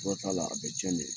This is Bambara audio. Dɔ t'a la a bɛ tiɲɛ de ye.